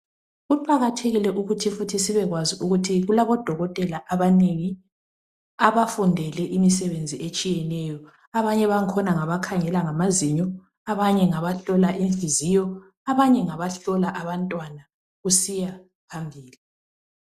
Kuqakathekile ukuthi futhi sibekwazi ukuthi kulabodokotela abanengi abafundele imisebenzi etshiyeneyo abanye bangkhona ngabakhangela ngamazinyo abanye ngabahlola inhliziyo abanye ngabahlola abantwana kusiya phambili.